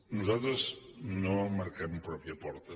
nosaltres no marquem en pròpia porta